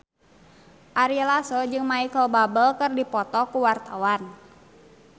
Ari Lasso jeung Micheal Bubble keur dipoto ku wartawan